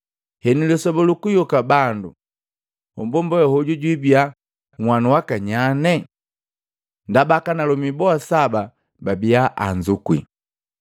Henu, lisoba lukuyoka bandu, mmbomba we hoju jwibia nhanu waka nyane? Ndaba akanalomi boa saba babia anzukwi.”